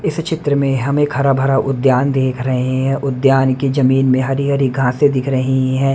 इस चित्र में हमें एक हरा भरा उद्यान देख रहे हैं उद्यान की जमीन में हरी हरी घासें दिख रही है।